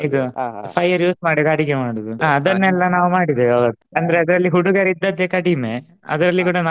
ಇದು fire use ಮಾಡದೆ ಅಡುಗೆ ಮಾಡುದು ಅಹ್ ಅದನ್ನೆಲ್ಲ ನಾವು ಮಾಡಿದ್ದೇವೆ ಆವತ್ತು ಅಂದ್ರೆ ಅದ್ರಲ್ಲಿ ಹುಡುಗರಿದ್ದದ್ದೇ ಕಡಿಮೆ ಅದ್ರಲ್ಲಿ ಕೂಡಾ ನಾವೆಲ್ಲ.